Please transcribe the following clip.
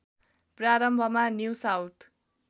प्रारम्भमा new south